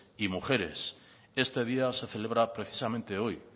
y mujeres este día se celebra precisamente hoy